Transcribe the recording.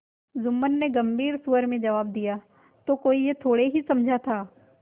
जुम्मन ने गम्भीर स्वर से जवाब दियातो कोई यह थोड़े ही समझा था